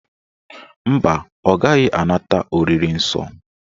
Mba, ọ gaghị anata oriri nsọ